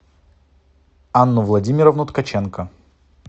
анну владимировну ткаченко